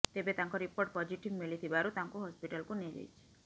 ତେବେ ତାଙ୍କ report positive ମିଳିଥିବାରୁ ତାଙ୍କୁ ହସ୍ପିଟାଲକୁ ନିଆଯାଇଛି